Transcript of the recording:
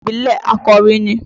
Ọdún ìbílẹ̀ Àkòrí ni.